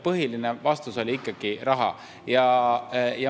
Põhiline vastus oli ikkagi raha.